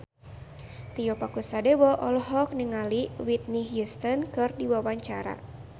Tio Pakusadewo olohok ningali Whitney Houston keur diwawancara